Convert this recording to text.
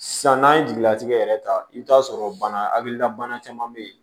San n'an ye jigilatigɛ yɛrɛ ta i bɛ t'a sɔrɔ bana hakilila bana caman bɛ yen